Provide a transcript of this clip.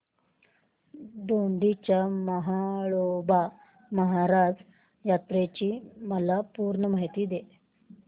दोडी च्या म्हाळोबा महाराज यात्रेची मला पूर्ण माहिती दे